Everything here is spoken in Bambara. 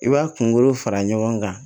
I b'a kunkolo fara ɲɔgɔn kan